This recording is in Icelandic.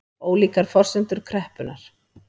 Ólíkar forsendur kreppunnar